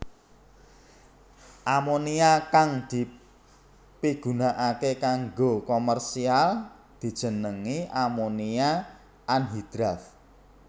Amonia kang dipigunakaké kanggo komersial dijenengi amonia anhidrat